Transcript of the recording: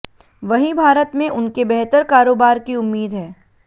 वहीं भारत में उनके बेहतर कारोबार की उम्मीद है